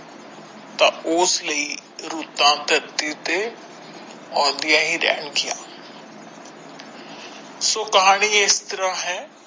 ਤਾ ਉਸ ਲਈ ਰੁੱਤਾਂ ਧਰਤੀ ਉੱਥੇ ਆਉਂਦੀਆਂ ਹੀ ਰਹਿਣ ਗਈਆਂ ਸੋ ਕਹਾਣੀ ਇਸ ਤਰਾਂ ਹੈ।